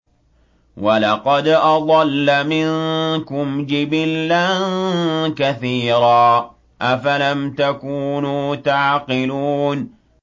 وَلَقَدْ أَضَلَّ مِنكُمْ جِبِلًّا كَثِيرًا ۖ أَفَلَمْ تَكُونُوا تَعْقِلُونَ